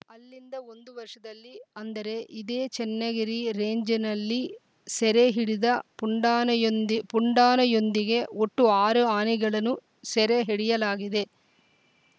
ಅಲ್ಲಿಂದ ಒಂದು ವರ್ಷದಲ್ಲಿ ಅಂದರೆ ಇದೇ ಚನ್ನಗಿರಿ ರೇಂಜ್‌ನಲ್ಲಿ ಸೆರೆ ಹಿಡಿದ ಪುಂಡಾನೆಯೊಂದಿ ಪುಂಡಾನೆಯೊಂದಿಗೆ ಒಟ್ಟು ಆರು ಆನೆಗಳನ್ನು ಸೆರೆ ಹಿಡಿಯಲಾಗಿದೆ